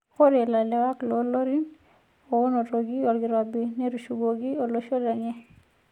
Ore larewak loolorin oonotoki olkirobi netushukoki loshon lenye.